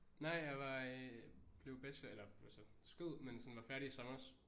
Nej jeg var øh blev bachelor eller altså skød men sådan var færdig i sommers